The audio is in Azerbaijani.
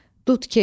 Dudkeş.